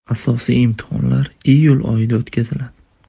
Asosiy imtihonlar iyul oyida o‘tkaziladi.